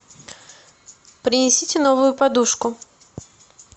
принесите новую подушку